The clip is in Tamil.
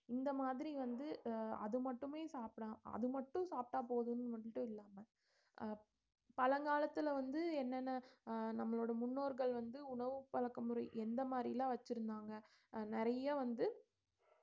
இந்த மாதிரி வந்து அது மட்டுமே சாப்பிடலாம் அது மட்டும் சாப்பிட்டா போதும்னு மட்டும் இல்லாம அஹ் பழங்காலத்துல வந்து என்னென்ன அஹ் நம்மளோட முன்னோர்கள் வந்து உணவு பழக்க முறை எந்த மாதிரி எல்லாம் வச்சிருந்தாங்க அஹ் நிறைய வந்து